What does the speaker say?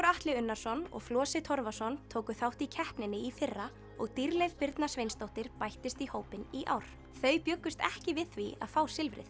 Atli Unnarsson og Flosi Torfason tóku þátt í keppninni í fyrra og Dýrleif Birna Sveinsdóttir bættist í hópinn í ár þau bjuggust ekki við því að fá silfrið